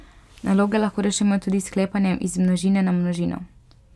Naloge lahko rešujemo tudi s sklepanjem iz množine na množino.